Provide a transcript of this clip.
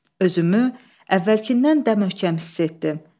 Özümü əvvəlkindən də möhkəm hiss etdim.